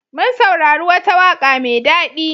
Mun saurari wata waƙa mai daɗi.